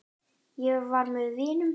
Ég var með vinum.